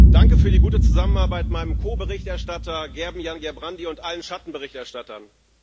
Danke für die gute Zusammenarbeit meinem Ko Berichterstatter Gerben Jan Gerbrandy und allen Schattenberichterstattern.